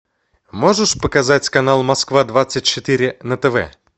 можешь показать канал москва двадцать четыре на тв